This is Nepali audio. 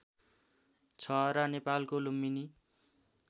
छहरा नेपालको लुम्बिनी